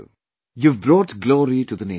You have brought glory to the Nation